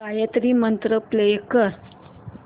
Gayatri mantra play कर